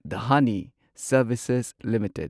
Dhani services limited